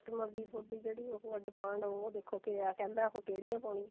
customer ਦੀ ਜਿਹੜੀ ਥੋਡੀ ਉਹ demand ਉਹ ਦੇਖੋ ਕੀ ਆ ਕਹਿੰਦਾ ਉਹ ਕਿਹੜੀਆਂ ਪਾਉਣੀਆਂ